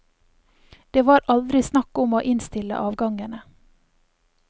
Det var aldri snakk om å innstille avgangene.